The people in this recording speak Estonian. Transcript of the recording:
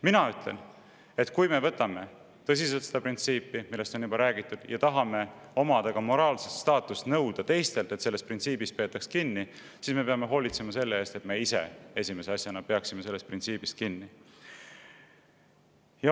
Mina ütlen, et kui me võtame tõsiselt seda printsiipi, millest on juba räägitud, ning tahame omada ka moraalset staatust ja nõuda teistelt, et sellest printsiibist peetakse kinni, siis me peame hoolitsema selle eest, et me ise esimese asjana peaksime sellest printsiibist kinni.